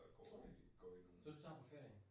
Uh, så du tager på ferie?